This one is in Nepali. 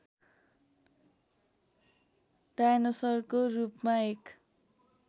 डायनोसरको रूपमा एक